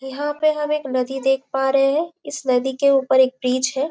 यहाँ पे हम एक नदी देख पा रहे है इस नदी के ऊपर एक ब्रिज है।